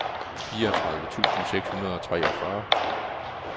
fireogtredive tusind seks hundrede og treogfyrre